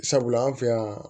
Sabula an fɛ yan